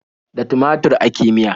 Da tumatur ake miya.